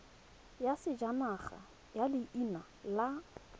ya sejanaga ya leina la